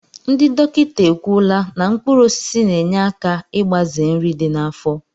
Ndị dọkịta ekwuola na mkpụrụosisi na-enye aka igbaze nri dị n'afọ